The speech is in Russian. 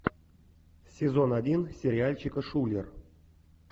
сезон один сериальчика шулер